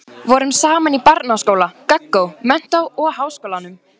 Voru saman í barnaskóla, gaggó, menntó og háskólanum.